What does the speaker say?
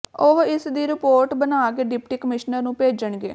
ਉਹ ਇਸ ਦੀ ਰਿਪੋਰਟ ਬਣਾ ਕੇ ਡਿਪਟੀ ਕਮਿਸ਼ਨਰ ਨੂੰ ਭੇਜਣਗੇ